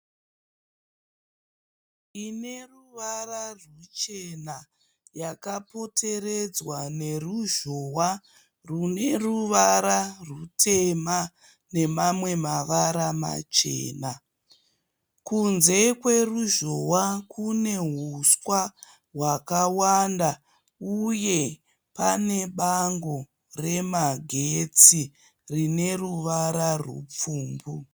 Pane imba ine ruvara ruchena yakapoteredzwa neruzhowa rune ruvara rutema nemamwe mavara machena. Kunze kweruzhowa kune huswa hwakawanda uye pane bango remagetsi rine ruvara rupfumbu.